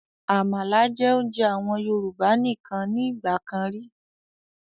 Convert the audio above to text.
Àmàlà jẹ́ oúnjẹ àwọn Yorùbá nìkan ni ìgbàkan ríi